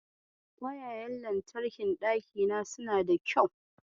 Kwayayen wutar lantarkin ɗakina suna da kyau.